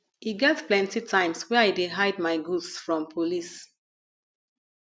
e get plenty times wey i dey hide my goods from police